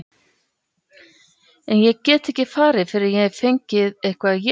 En ég get ekki farið fyrr en ég hef fengið eitthvað að éta.